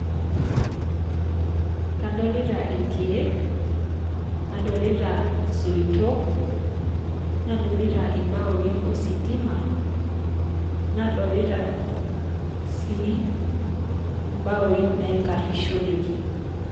Kadolita ilkieek, nadolita isoitok, nadolita imbaoii ositima, nadolita sii imbaoii naikarrishoreki.